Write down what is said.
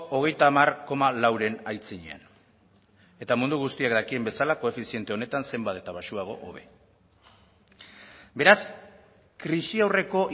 hogeita hamar koma lauren aitzinean mundu guztiak dakien bezala koefiziente honetan zenbat eta baxuago hobe beraz krisi aurreko